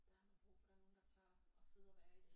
Der har man brug for der er nogen der tør og sidde og være i det